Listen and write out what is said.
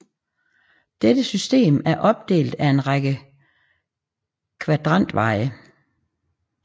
Dette system er opdelt af en række kvadrantveje